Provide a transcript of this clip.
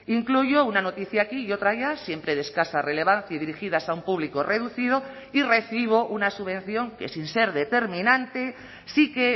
incluyo una noticia aquí y otra allá siempre de escasa relevancia y dirigidas a un público reducido y recibo una subvención que sin ser determinante sí que